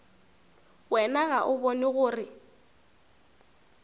wena ga o bone gore